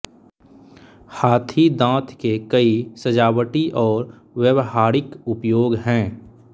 हाथीदाँत के कई सजावटी और व्यावहारिक उपयोग हैं